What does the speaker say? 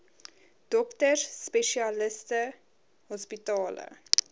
dokters spesialiste hospitale